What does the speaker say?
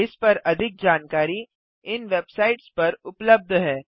इस पर अधिक जानकारी इन वेबसाइट्स पर उबलब्ध है